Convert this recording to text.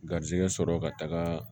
Garizigɛ sɔrɔ ka taga